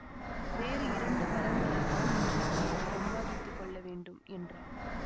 வேறு இரண்டு கரங்களைத்தான் இன்றைக்கு நான் சம்பாதித்து கொள்ள வேண்டும் என்றாள்